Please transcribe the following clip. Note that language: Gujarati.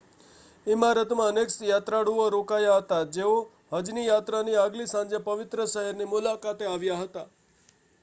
ઇમારતમાં અનેક યાત્રાળુઓ રોકાયાં હતાં જેઓ હજની યાત્રાની આગલી સાંજે પવિત્ર શહેરની મુલાકાતે આવ્યાં હતાં